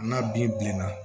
N'a binna